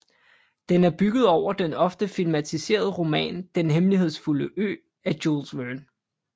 Den er bygget over den ofte filmatiserede roman Den hemmelighedsfulde ø af Jules Verne